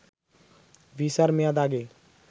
ভিসার মেয়াদ আগে